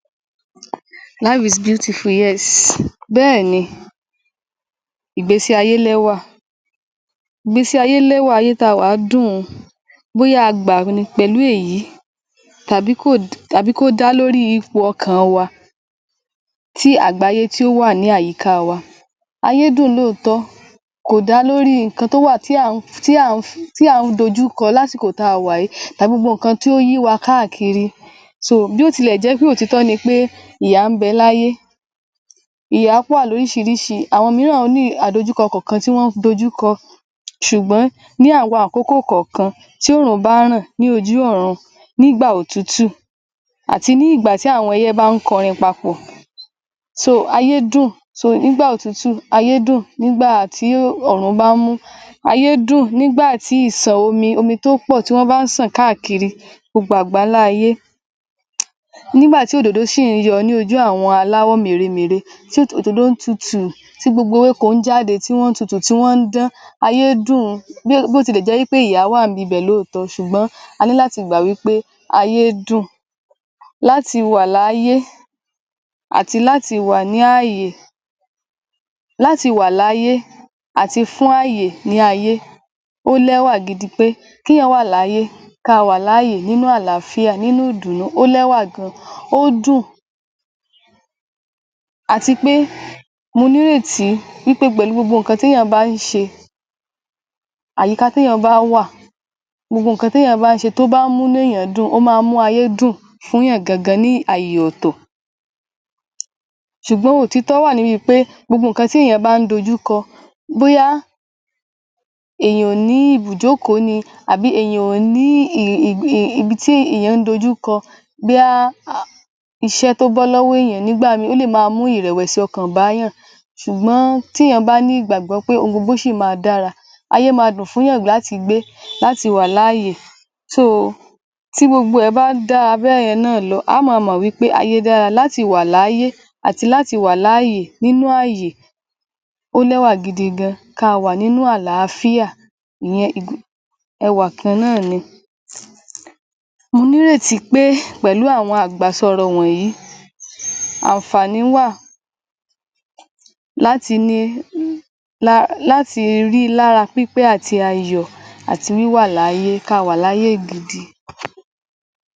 Life is beautiful yes. Bẹ́ẹ̀ni, ìgbésí ayé lẹ́wà. Ìgbésí ayé lẹ́wà, ayé tá a wà dùn, bóyá a gbà ni pẹ̀lú èyí tàbí kò tàbí kó dá lórí ipò ọkàn wa, tí àgbáyé tí ó wà ní àyíká wá, ayé dùn lóòótọ́, kò dá lórí nǹkan tó wà tí a ń tí à ń dojú kọ lásìkò táa wà yìí, gbogbo nǹkan tí ó yí wa káàkiri so bó tilè jẹ́ pé òtítọ́ ni pé ìyà ń bẹ láyé, ìyá wà lóríṣiríṣi àwọn mìíràn ní àdojúkọ kọ̀ọ̀kan tí wọ́n ń dojúkọ. Ṣùgbọ́n ní àwọn àkókò kọ̀ọ̀kan tí oòrùn bá ràn ní ojú ọ̀run, nígbà òtútù, àti ní ìgbà tí àwọn ẹyẹ bá ń kọrin papọ̀ so ayé dùn so nígbà otutu, aye dun, nigba tí oòrùn bá mú, ayé dùn nígbà tí ìsàn omi, omi tó pọ̀ tí wọ́n bá ń ṣàn káàkiri gbogbo àgbálá ayé, nígbà tí òdòdó ṣì ń yọ ní ojú àwọn aláwọ̀ mèremère tí òdòdó tutu, tí gbogbo ewéko jáde tí wọ́n tutù tí wọ́n ń dan, ayé dun bó tilẹ̀ jẹ́ pé ìyà wà níbibẹ̀ lóòótọ́, ṣùgbọ́n a ní láti gbà wípé ayé dùn. Láti wá láyé àti láti wá ní ààyè, láti wá láyé àti fún ààyè ni ayé, ó lẹ́wà gidi pé kéèyàn wà láyé ká a wà láàyè nínú àláfíà, nínú ìdùnnú, ó lẹ́wà gan-an, ó dùn àti pé mo nírètí wípé pẹ̀lú gbogbo nǹkan téèyàn bá ń sẹ, àyíká téèyàn bá wà, gbogbo nǹkan téèyàn bá ṣe tó máa ń múnú èèyàn dùn, ó máa ń mú ayé dùn fúnyàn gangan ní àyè ọ̀tọ̀, ṣùgbọ́n òtítọ́ wà níbi pé gbogbo nǹkan téèyàn bá ń dojúkọ, bóyá èèyàn ò ní ibùjókòó ni àbí èèyàn ò ní ibi tí èèyàn ń dojuko bóyá um iṣẹ́ tó bọ́ lọ́wọ́ èèyàn nígbà míì ó lè máa mú ìrẹ̀wẹ̀sì ọkàn bá yàn, śùgbọ́n téèyàn bá ní ìgbàgbọ́ pé ohun gbogbo ṣì máa dára, ayé máa dùn fú yàn láti gbé, láti wà láàyè so[s] tí gbogbo ẹ̀ bá dáa bẹ́yẹn náà lọ, á á máa mọ̀ wípé ayé dára láti wà láyé àti láti wà láàyè nínú ayè, ó lẹ́wà gidi gan-an ká a wá nínú àlàáfíà ìyẹn ẹwà kan náà ni. Mo nírètí pé pẹ̀lú àwọn àgbàsọ ọ̀rọ̀ wọ̀nyí, àǹfàní wà láti ni lati ri lára pípé àti ayọ̀ àti wíwà láyé káa wà láyé gidi.